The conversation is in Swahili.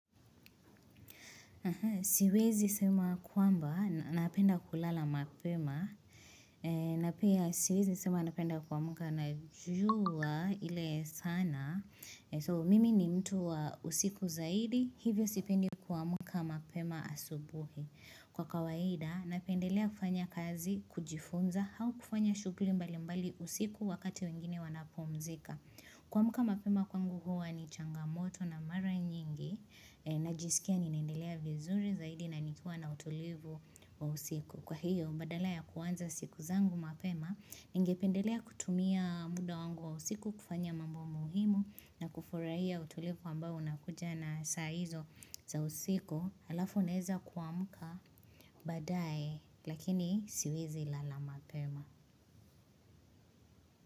Siwezi sema kwamba napenda kulala mapema Napia siwezi sema napenda kuamka na juwa ile sana So mimi ni mtu wa usiku zaidi hivyo sipendi kuamka mapema asubuhi Kwa kawaida napendelea kufanya kazi kujifunza au kufanya shughuli mbali mbali usiku wakati wengine wanapumzika Kua mka mapema kwangu huwa ni changamoto na mara nyingi na jisikia ni nendelea vizuri zaidi na nikua na utulivu wa usiku. Kwa hiyo, badala ya kuanza siku zangu mapema, ninge pendelea kutumia muda wangu wa usiku kufanya mambo muhimu na kufurahia utulivu ambao unakuja na saa hizo za usiku. Alafu naweza kuamka badae, lakini siwezi lala mapema.